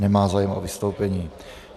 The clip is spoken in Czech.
Nemá zájem o vystoupení.